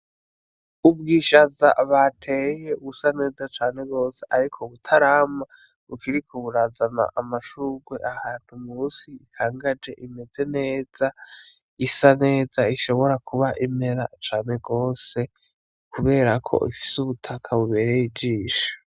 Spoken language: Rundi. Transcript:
Ubwishaza bateye busa neza cane gose ariko butarama, bukiriko burazana amashurwe ahantu musi bukangaje, imeze neza, isa neza ishobora kuba imera cane gose, kubera ko bufise ubutaka bubereye ijisho.